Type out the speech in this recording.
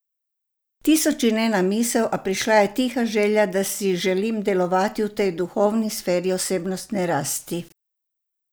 Tisoč in ena misel, a prišla je tiha želja, da si želim delovati v tej duhovni sferi osebnostne rasti.